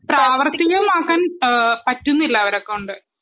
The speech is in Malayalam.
പ്രാവർത്തികമാക്കൻ ഏ പറ്റുന്നില്ല അവരെ കൊണ്ട്